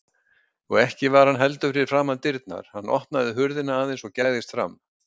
Og ekki var hann heldur fyrir framan dyrnar, hann opnaði hurðina aðeins og gægðist fram.